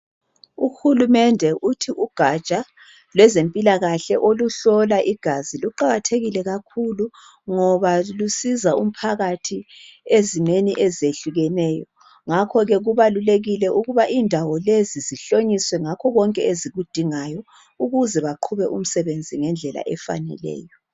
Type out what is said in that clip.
Uhulumende uthi ugatsha lwezempilakahle aluhlola igazi luqakathekile kakhulu ngoba lusiza umphakathi ezimeni ezehlukeneyo. Ngakho-ke kubalulekile ukuba indawo lezi zihlonyiswe ngakho konke ezikudingayo ukuze baqhube umsebenzi ngendlela efaneleyo.